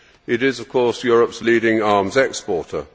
It is of course Europe's leading arms exporter.